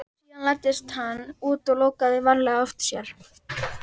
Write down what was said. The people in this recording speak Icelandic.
Síðan læddist hann út og lokaði varlega á eftir sér.